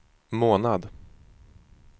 månad